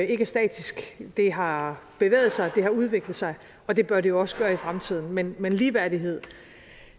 ikke er statisk det har bevæget sig det har udviklet sig og det bør det også gøre i fremtiden men men ligeværdighed